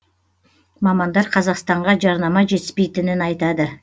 мамандар қазақстанға жарнама жетіспейтінін айтады